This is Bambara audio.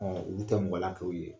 olu tɛ kɛ u ye